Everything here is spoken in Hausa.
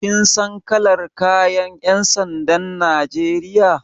Kin san kalar kayan ƴan sandan Najeriya.